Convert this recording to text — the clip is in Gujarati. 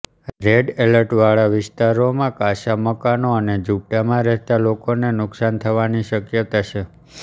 રેડ એલર્ટ વાળાવિસ્તારોમાં કાચા મકાનો અને ઝુંપડામાં રહેતા લોકોને નુકસાન થવાની શક્યતા છે